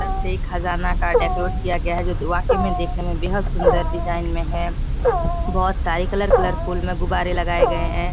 अंदर से खजाना का डेकोरेट किया गया है जो वाकई में देखने में बेहद सुंदर डिज़ाइन में है बहुत सारे कलर कलरफुल में गुब्बारे लगाए गए है।